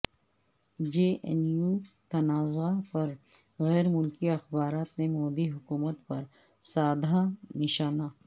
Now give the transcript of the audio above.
جے N U تنازعہ پر غیر ملکی اخبارات نے مودی حکومت پر سادھا نشانہ